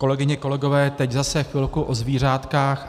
Kolegyně, kolegové, teď zase chvilku o zvířátkách.